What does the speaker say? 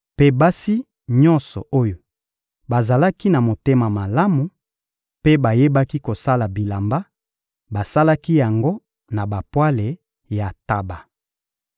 Mpe basi nyonso oyo bazalaki na motema malamu mpe bayebaki kosala bilamba, basalaki yango na bapwale ya ntaba.